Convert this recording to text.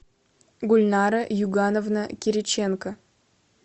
гульнара югановна кириченко